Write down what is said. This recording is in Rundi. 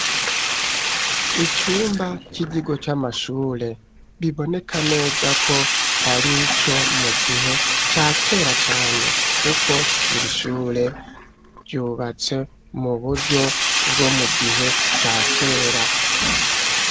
Icumba c'ikigo c'amashure, biboneka neza ko, ari ico mu gihe ca kera cane, kuko iri shure, ryubatse mu buryo bwo mu gihe ca kera.